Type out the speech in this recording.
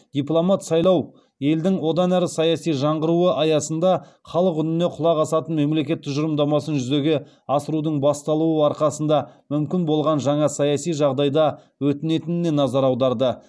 дипломат сайлау елдің одан әрі саяси жаңғыруы аясында халық үніне құлақ асатын мемлекет тұжырымдамасын жүзеге асырудың басталуы арқасында мүмкін болған жаңа саяси жағдайда өтінетініне назар аударды